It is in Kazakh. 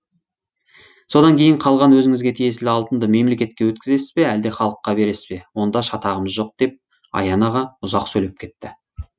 содан кейін қалған өзіңізге тиесілі алтынды мемлекетке өткізесіз бе әлде халыққа бересіз бе онда шатағымыз жоқ деп аян аға ұзақ сөйлеп кетті